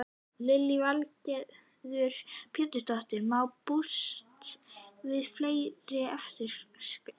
Lillý Valgerður Pétursdóttir: Má búast við fleiri eftirskjálftum?